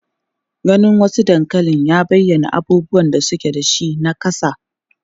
Ganin wasu dankalin ya bayyana irin abubuwan da suke da shi na kasa.